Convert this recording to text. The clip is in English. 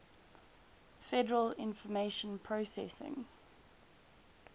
federal information processing